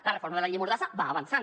la reforma de la llei mordassa va avançant